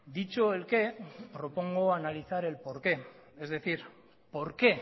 dicho el qué propongo analizar el por qué es decir por qué